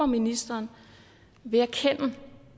ministeren vil erkende